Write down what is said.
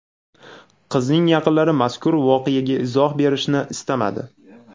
Qizning yaqinlari mazkur voqeaga izoh berishni istamadi.